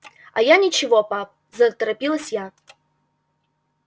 а я ничего пап заторопилась я